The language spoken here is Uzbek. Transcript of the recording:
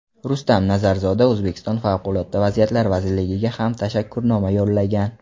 Rustam Nazarzoda O‘zbekiston Favqulodda vaziyatlar vazirligiga ham tashakkurnoma yo‘llagan.